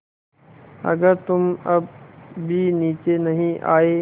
अगर तुम अब भी नीचे नहीं आये